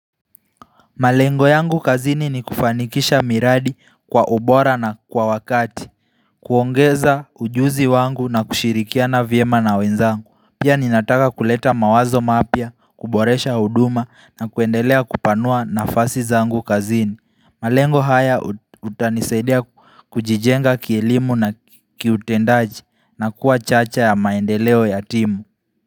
Malengo yangu kazini ni kufanikisha miradi kwa ubora na kwa wakati kuongeza ujuzi wangu na kushirikiana viema na wenzangu Pia ninataka kuleta mawazo mapia, kuboresha huduma na kuendelea kupanua nafasi zangu kazini malengo haya utanisaidia kujijenga kielimu na kiutendaji na kuwa chacha ya maendeleo ya timu.